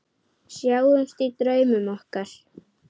Sjáumst í draumum okkar.